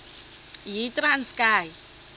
yitranskayi